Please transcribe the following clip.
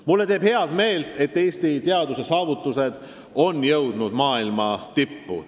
Mulle teeb head meelt, et Eesti teaduse saavutused on jõudnud maailma tippu.